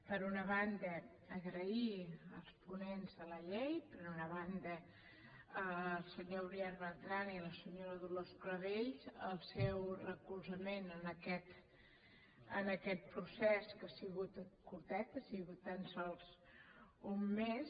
per una banda donar les gràcies als ponents de la llei per una banda al senyor uriel bertran i a la senyora dolors clavell el seu recolzament en aquest procés que ha sigut curtet ha sigut tan sols un mes